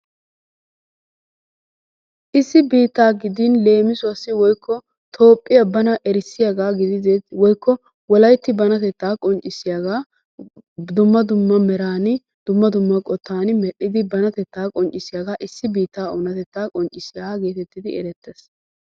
Issi biittaa gidin leemisuwaasi woykko toophphiyaa bana erissiyaagaa gididee woykko wollaytti banatettaa qonccisiyaagaa dumma dumma meraani dumma dumma qoottan meel"idi bantettaa qonccisiyaaga issi biittaa onatettaa qonccisiyaagaa getettidi erettees.